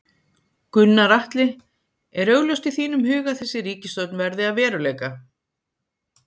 Gunnar Atli: Er augljóst í þínum huga að þessi ríkisstjórn verði að veruleika?